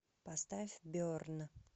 поставь берн